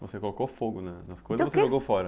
Você colocou fogo nas coisas ou você jogou fora?